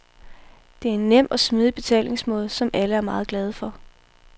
Det er en nem og smidig betalingsmåde, som alle er meget glade for.